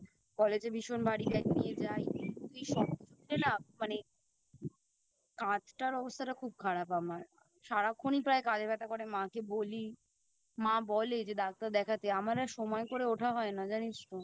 কলেজে ভীষণ ভারী Bag নিয়ে যাই এই সব কিছু মিলিয়ে না মানে কাঁধটার অবস্থাটা খুব খারাপ আমার সারাক্ষণই প্রায় কাঁধে ব্যাথা করে মাকে বলি মা বলে যে ডাক্তার দেখতে আমার আর সময় করে ওঠা হয় না জানিস তো